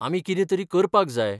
आमी कितें तरी करपाक जाय.